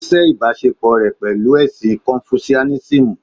Ó sẹ́ ìbáṣepò rẹ̀ pẹ̀lú ẹ̀sìn Confucianism